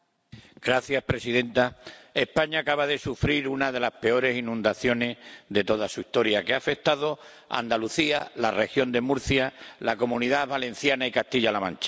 Señora presidenta, España acaba de sufrir una de las peores inundaciones de toda su historia, que ha afectado a Andalucía, la Región de Murcia, la Comunidad Valenciana y Castilla La Mancha.